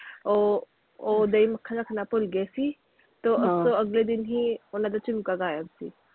ਉਹ ਉਹ ਦਹੀ ਮੱਖਣ ਰੱਖਣਾ ਭੁੱਲ ਗਏ ਸੀ, ਤੇ ਉਹ ਅਗਲੇ ਦਿਨ ਹੀ ਓਹਨਾ ਦਾ ਝੁਮਕਾ ਗਾਇਬ ਸੀ।